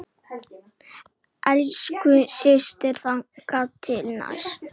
Elsku systir, þangað til næst.